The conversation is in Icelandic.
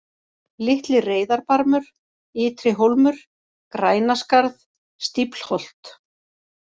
Litli-Reyðarbarmur, Ytri-Hólmur, Grænaskarð, Stíflholt